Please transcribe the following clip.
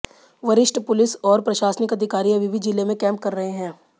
वरिष्ठ पुलिस और प्रशासनिक अधिकारी अभी भी जिले में कैंप कर रहे हैं